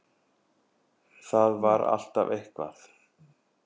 Það var alltaf eitthvað.